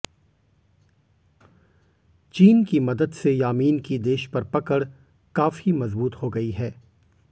चीन की मदद से यामीन की देश पर पकड़ काफी मजबूत हो गई है